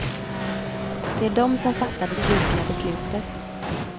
Det är de som fattar det slutliga beslutet.